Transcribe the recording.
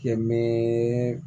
Kɛ min